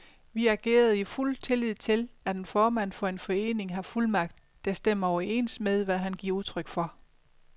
Vi agerede i fuld tillid til, at en formand for en forening har fuldmagt, der stemmer overens med, hvad han giver udtryk for.